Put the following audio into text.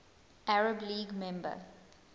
arab league member